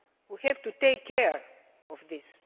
We have to take care of this.